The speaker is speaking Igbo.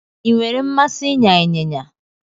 I nwere mmasị ịnya ịnyịnya